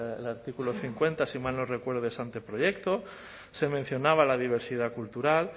el artículo cincuenta si mal no recuerdo de ese anteproyecto se mencionaba la diversidad cultural